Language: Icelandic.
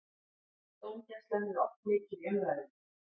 Dómgæslan er oft mikið í umræðunni.